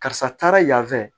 Karisa taara yan fɛ